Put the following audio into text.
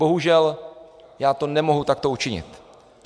Bohužel, já to nemohu takto učinit.